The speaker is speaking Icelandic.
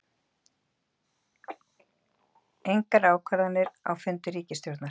Engar ákvarðanir á fundi ríkisstjórnar